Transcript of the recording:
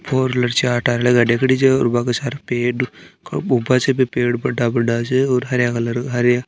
for wheeler चार tyre गाड़ी खड़ी छे पेड़ ऊपर से भी पेड़ बड़ा बड़ा छे और हरया कलर का हरया--